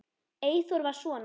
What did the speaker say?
Eyþór var svona.